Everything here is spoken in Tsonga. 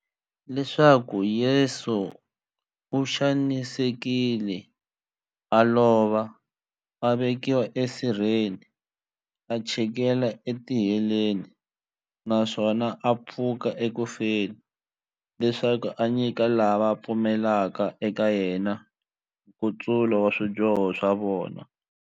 Leswaku Yesu u xanisekile, a lova, a vekiwa e sirheni, a chikela e tiheleni, naswona a pfuka eku feni, leswaku a nyika lava va pfumelaka eka yena, nkutsulo wa swidyoho swa vona.